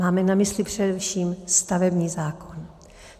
Máme na mysli především stavební zákon.